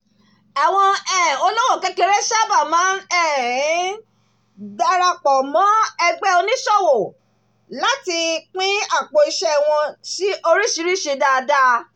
àwọn um olówò kékeré sábà máa um ń darapọ̀ mọ́ ẹgbẹ́ oníṣòwò láti pín àpò-iṣẹ́ wọn sí oríṣiríṣi dáadáa